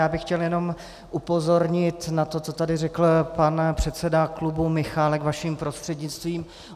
Já bych chtěl jenom upozornit na to, co tady řekl pan předseda klubu Michálek, vaším prostřednictvím.